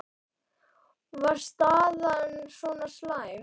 Var staðan svona slæm?